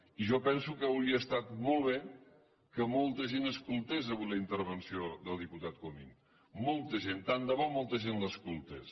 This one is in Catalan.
i jo penso que hauria estat molt bé que molta gent escoltés avui la intervenció del diputat comín molta gent tant de bo molta gent l’escoltés